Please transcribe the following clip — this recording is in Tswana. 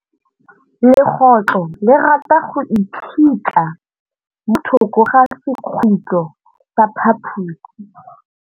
Legôtlô le rata go iphitlha mo thokô ga sekhutlo sa phaposi.